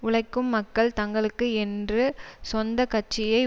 உழைக்கும் மக்கள் தங்களுக்கு என்று சொந்த கட்சியை